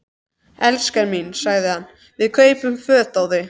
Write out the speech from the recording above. elskan mín, sagði hann, við kaupum föt á þig.